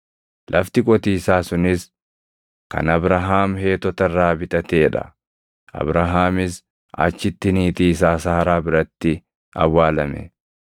Lafti qotiisaa sunis kan Abrahaam Heetota irraa bitatee dha; Abrahaamis achitti niitii isaa Saaraa biratti awwaalame.